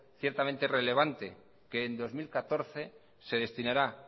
ciertamente relevante que en dos mil catorce se destinará